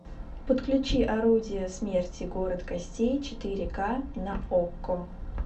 подключи орудие смерти город костей четыре ка на окко